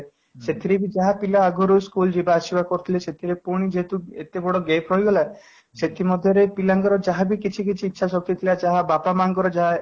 ସେଥିରେ ବି ଯାହା ଥିଲା ଆଗରୁ ଯିବା ଆସିବା କରୁଥିଲେ ସେଥିରେ ପୁଣି ଯେହେତୁ ଏତେ ବଡ gap ରହିଗଲା ସେଥି ମଧ୍ୟରେ ପିଲା ଙ୍କର ଯାହା ବି କିଛି କିଛି ଇଛା ଶକ୍ତି ଥିଲା ବାପା ମା ଙ୍କର ଯାହା